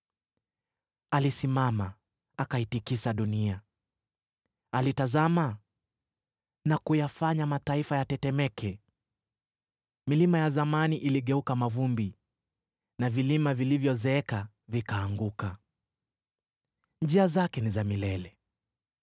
Alisimama, akaitikisa dunia; alitazama, na kuyafanya mataifa yatetemeke. Milima ya zamani iligeuka mavumbi na vilima vilivyozeeka vikaanguka. Njia zake ni za milele.